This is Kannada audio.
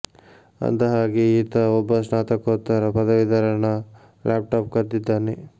ಅಂದ ಹಾಗೆ ಈತ ಒಬ್ಬ ಸ್ನಾತಕೋತ್ತರ ಪದವೀಧರನ ಲ್ಯಾಪ್ ಟಾಪ್ ಕದ್ದಿದ್ದಾನೆ